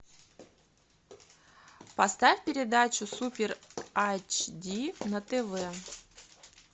поставь передачу супер айчди на тв